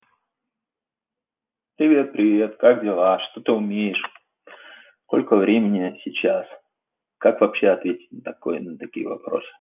привет привет как дела что ты умеешь сколько времени сейчас как вообще ответить на такое на такие вопросы